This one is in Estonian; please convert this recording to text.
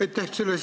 Aitäh!